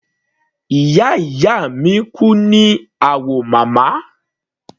Ìyá ìyá mi kú ní Awomama.